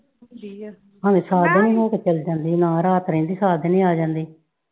ਭਾਵੇਂ ਸਾਜਰੇ ਈ ਆ ਕੇ ਚਲੀ ਜਾਂਦੀ, ਨਾ ਰਾਤ ਰਹਿੰਦੀ ਸਾਜਰੇ ਆ ਜਾਂਦੀ।